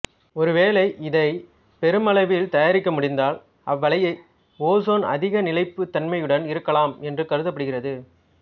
ஒருவேளை இதை பெருமளவில் தயாரிக்க முடிந்தால் அவ்வளைய ஒசோன் அதிக நிலைப்புத் தன்மையுடன் இருக்கலாம் என்று கருதப்படுகிறது